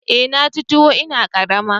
Eh na ci tun ina karama